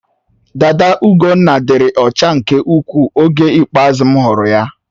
Dada Ugonna dịrị ọcha nke ukwuu oge ikpeazụ m hụrụ ya.